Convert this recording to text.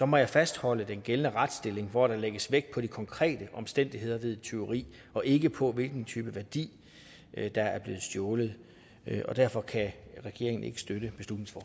må jeg fastholde den gældende retsstilling hvor der lægges vægt på de konkrete omstændigheder ved et tyveri og ikke på hvilken type værdi der er blevet stjålet derfor kan regeringen ikke støtte